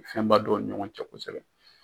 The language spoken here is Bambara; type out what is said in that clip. Fɛnba dɔn o ni ɲɔgɔn cɛ kosɛbɛ.